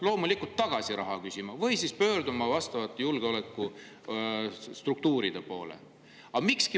Loomulikult raha tagasi küsima või siis pöörduma vastavate julgeolekustruktuuride poole.